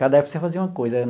Cada época você fazia uma coisa.